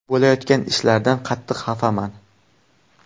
Bo‘layotgan ishlardan qattiq xafaman.